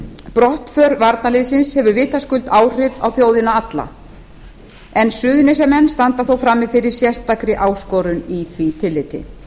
brottför varnarliðsins hefur vitaskuld áhrif á þjóðina alla en suðurnesjamenn standa þó frammi fyrir sérstakri áskorun í því tilliti